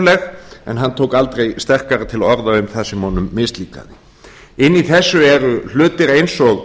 förðuleg en hann tók aldrei sterkara til orða um það sem honum mislíkaði inni í þessu eru hlutir eins og